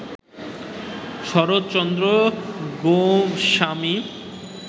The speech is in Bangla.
শরতচন্দ্ৰ গোস্বামী